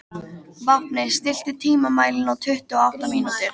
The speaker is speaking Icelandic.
Vápni, stilltu tímamælinn á tuttugu og átta mínútur.